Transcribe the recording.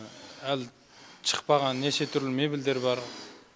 әлі шықпаған неше түрлі мебельдер бар